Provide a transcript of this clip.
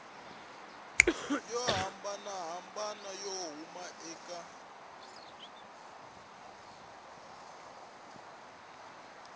yo hambanahambana yo huma eka